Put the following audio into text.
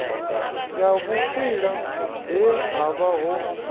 ya vhukwila he havha ho